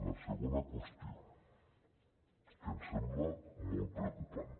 la segona qüestió que em sembla molt preocupant